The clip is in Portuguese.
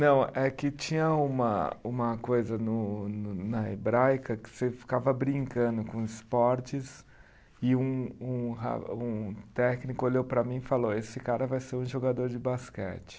Não, é que tinha uma uma coisa no no na hebraica que você ficava brincando com esportes e um um ra, um técnico olhou para mim e falou, esse cara vai ser um jogador de basquete.